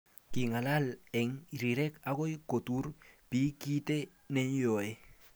king'alal eng rirek akoi kotur biik kiit neyoei